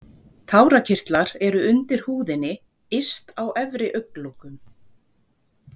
Tárakirtlar eru undir húðinni yst á efri augnlokum.